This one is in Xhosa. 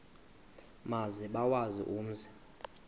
maze bawazi umzi